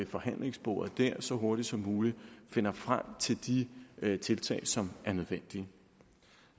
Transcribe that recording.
forhandlingsbordet så hurtigt som muligt finder frem til de tiltag som er nødvendige